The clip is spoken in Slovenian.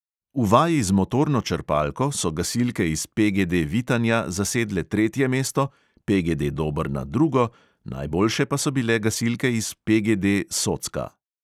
V vaji z motorno črpalko so gasilke iz PGD vitanja zasedle tretje mesto, PGD dobrna drugo, najboljše pa so bile gasilke iz PGD socka.